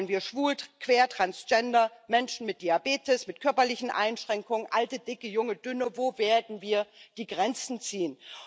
Wollen wir schwul, queer, transgender, Menschen mit Diabetes, mit körperlichen Einschränkungen, alte, dicke, junge, dünne wo werden wir die Grenzen ziehen?